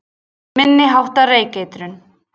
Minni háttar reykeitrun